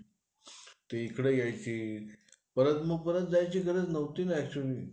काय म्हणली?